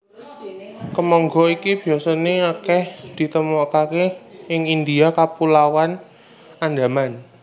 Kemangga iki biasané akèh ditemokaké ing India Kapulauan Andaman